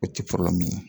O ti ye